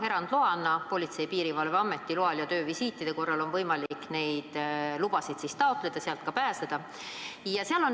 Erandina on Politsei- ja Piirivalveameti loal ja töövisiitide korral võimalik taotleda vastav luba ja sealt siiski Eestisse tulla.